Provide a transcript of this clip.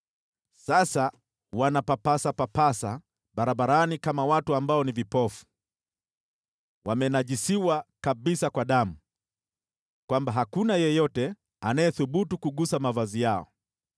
Sasa wanapapasa papasa barabarani kama watu ambao ni vipofu. Wamenajisiwa kabisa kwa damu, hata hakuna anayethubutu kugusa mavazi yao.